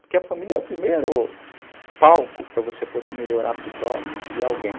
Porque a família é o primeiro palco para você poder melhorar a si próprio e alguém.